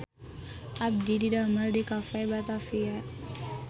Abdi didamel di Cafe Batavia